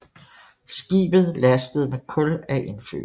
Skibet lastes med kul af indfødte